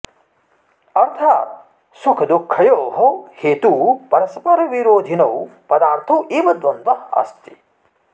अर्थाद् सुखदुःखयोः हेतू परस्परविरोधिनौ पदार्थौ एव द्वन्द्वः अस्ति